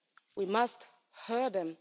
We must hear them.